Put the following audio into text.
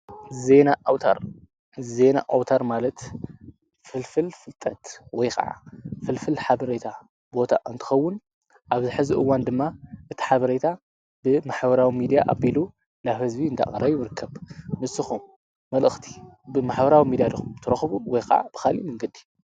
ዜና ኣውታር፡- ዜና ኣውታር ማለት ፍልፍል ፍልጠት ወይ ከዓ ፍልፍል ሓበሬታ ቦታ እንትኸውን ኣብዚ ሕዚ እዋን ድማ እቲ ሓበሬታ ብማሕበራዊ ሚድያ ኣቢሉ ናብ ህዝቢ እንዳቀረበ ይርከብ። ንስኹም መልእክቲ ብማሕበራዊ ሚድያ ዲኹም እትረክቡ ወይ ከዓ ብካልእ መንገዲ?